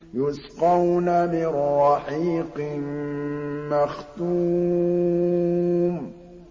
يُسْقَوْنَ مِن رَّحِيقٍ مَّخْتُومٍ